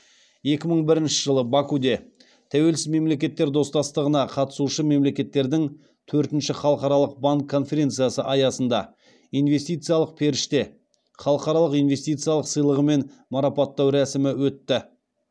екі мың бірінші жылы бакуде тәуелсіз мемлекеттер достастығына қатысушы мемлекеттердің төртінші халықаралық банк конференциясы аясында инвестициялық періште халықаралық инвестициялық сыйлығымен марапаттау рәсімі өтті